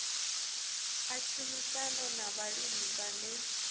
a tshumisano na vhalimi vhane